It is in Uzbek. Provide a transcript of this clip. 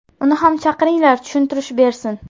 Uni ham chaqiringlar tushuntirish bersin.